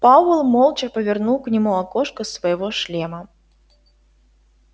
пауэлл молча повернул к нему окошко своего шлема